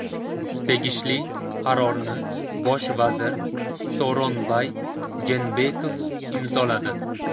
Tegishli qarorni bosh vazir Sooronbay Jeenbekov imzoladi.